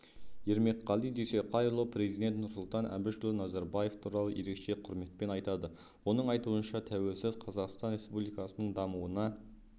ермекқали дүйсеқайұлы президент нұрсұлтан әбішұлы назарбаев туралы ерекше құрметпен айтады оның айтуынша тәуелсіз қазақстан республикасының дамыуына